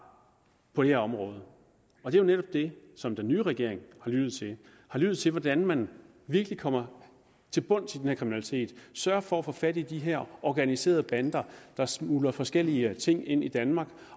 på det her område og det er netop dem som den nye regering har lyttet til den har lyttet til hvordan man virkelig kommer til bunds i den her kriminalitet sørger for at få fat i de her organiserede bander der smugler forskellige ting ind i danmark